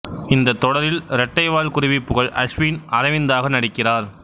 இந்த தொடரில் ரெட்டை வால் குருவி புகழ் அஸ்வின் அரவிந்தாக நடிக்கிறார்